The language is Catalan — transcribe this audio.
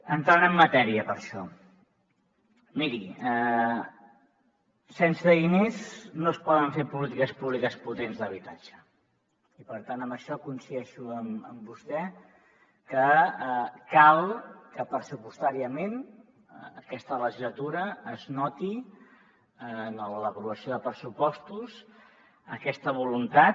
entrant en matèria per això miri sense diners no es poden fer polítiques públiques potents d’habitatge i per tant en això coincideixo amb vostè que cal que pressupostàriament aquesta legislatura es noti en l’aprovació de pressupostos aquesta voluntat